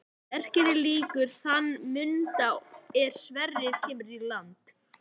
Verkinu lýkur í þann mund er Sverrir kemur til landa.